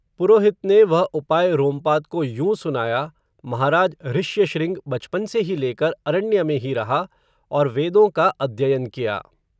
पुरोहित ने, वह उपाय रोमपाद को यूं सुनाया, महाराज ऋश्यशृंग, बचपन से ही लेकर, अरण्य में ही रहा, और वेदों का, अध्ययन किया